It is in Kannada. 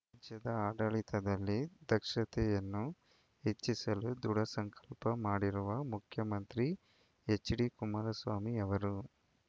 ರಾಜ್ಯದ ಆಡಳಿತದಲ್ಲಿ ದಕ್ಷತೆಯನ್ನು ಹೆಚ್ಚಿಸಲು ದೃಢ ಸಂಕಲ್ಪ ಮಾಡಿರುವ ಮುಖ್ಯಮಂತ್ರಿ ಹೆಚ್ಡಿ ಕುಮಾರಸ್ವಾಮಿ ಅವರು